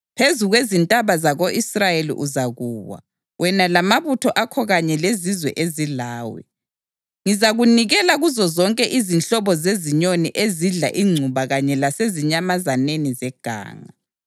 Phezu kwezintaba zako-Israyeli uzakuwa, wena lamabutho akho kanye lezizwe ezilawe. Ngizakunikela kuzozonke izinhlobo zezinyoni ezidla ingcuba kanye lasezinyamazaneni zeganga.